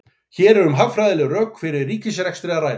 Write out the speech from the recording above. Hér er um hagfræðileg rök fyrir ríkisrekstri að ræða.